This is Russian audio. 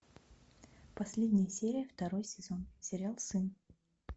последняя серия второй сезон сериал сын